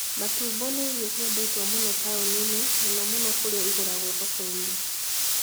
Matumbo nĩ irio ciendetwo mũno taũni-inĩ, mũno mũno kũrĩa ĩgũragwo thoko-inĩ.